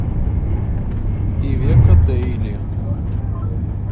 ивеко дейли